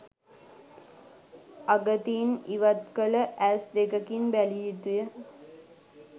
අගතීන් ඉවත්කළ ඇස් දෙකකින් බැලිය යුතුය